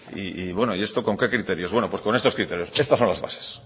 y bueno y esto con qué criterios bueno pues con estos criterios estas son las bases